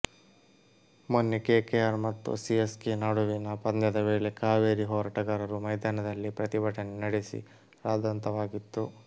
ಮೊನ್ನೆ ಕೆಕೆಆರ್ ಮತ್ತು CSK ನಡುವಿನ ಪಂದ್ಯದ ವೇಳೆ ಕಾವೇರಿ ಹೋರಾಟಗಾರರು ಮೈದಾನದಲ್ಲೇ ಪ್ರತಿಭಟನೆ ನಡೆಸಿ ರದ್ದಾಂತವಾಗಿತ್ತು